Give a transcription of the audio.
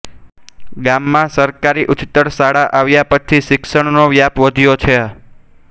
ગામ માં સરકારી ઉચ્ચતર શાળા આવ્યા પછી શિક્ષણ નો વ્યાપ વધ્યો છે